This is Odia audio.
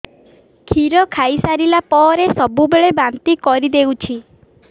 କ୍ଷୀର ଖାଇସାରିଲା ପରେ ସବୁବେଳେ ବାନ୍ତି କରିଦେଉଛି